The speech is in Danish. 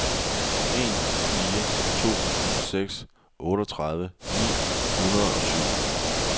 en fire to seks otteogtredive ni hundrede og syv